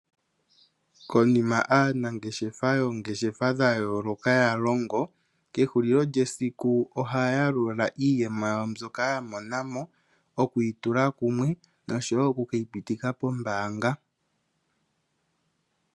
Konima aanangeshefa yoongeshefa dhayooloka yalongo kehulilo lyesiku ohaya yalula iiyemo yawo mbyoka yalongo okuyitula kumwe, nosho wo okukeyi pitika pombaanga.